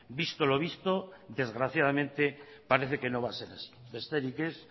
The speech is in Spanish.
visto lo visto desgraciadamente parece que no va a ser así besterik ez